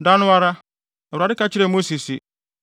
Da no ara, Awurade ka kyerɛɛ Mose se,